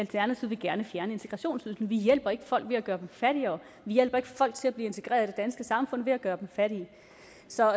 gerne vil fjerne integrationsydelsen vi hjælper ikke folk ved at gøre dem fattigere vi hjælper ikke folk til at blive integreret i det danske samfund ved at gøre dem fattige så